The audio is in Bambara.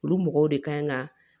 Olu mɔgɔw de kan ka